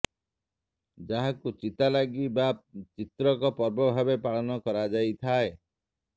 ଯାହାକୁ ଚିତାଲାଗି ବା ଚିତ୍ରକ ପର୍ବ ଭାବେ ପାଳନ କରାଯାଇଥାଏ